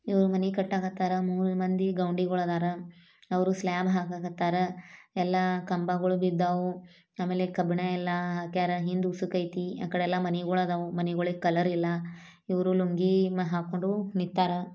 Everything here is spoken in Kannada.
ಇವ್ರು ಮನೆ ಕಟ್ಟಕ್ ಹತ್ತಾರ ಮೂರು ಮಂದಿ ಗೌಂಡಿಗಳು ಇದಾರ ಅವರು ಸ್ಲಾಬ್ ಹಾಕಕ್ ಹತ್ತಾರ ಎಲ್ಲಾ ಕಂಬಗಳು ಬಿದ್ದವು ಆಮೇಲೆ ಕವನ ಎಲ್ಲಾ ಆಕಾರ ಹಿಂದೆ ಹೊಸಕೈತಿ ಆ ಕಡೆಯಲ್ಲ ಮನೆಗಳು ಇದವು ಮನೆಗಳಿಗೆ ಕಲರ್ ಇಲ್ಲ ಇರೋ ಲುಂಗಿ ಹಾಕೊಂಡ್ ನಿಂತಾರ.